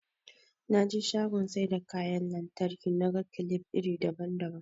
Naje shagon saida kyan lantraki naga kilif iri daban daban